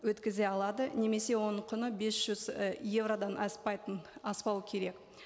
өткізе алады немесе оның құны бес жүз і еуродан аспайтын аспауы керек